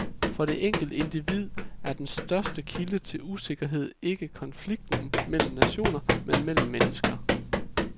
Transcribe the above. For det enkelte individ er den største kilde til usikkerhed ikke konflikten mellem nationer, men mellem mennesker.